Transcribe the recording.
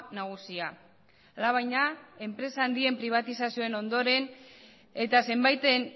nagusia alabaina enpresa handien pribatizazioen ondoren eta zenbaiten